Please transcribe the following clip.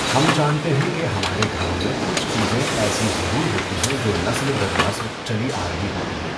ہم جانتے ہیں کہ ہمارے گھروں میں کچھ چیزیں ایسی ضرور ہوتی ہیں جو نسل در نسل چلی آرہی ہوتی ہیں۔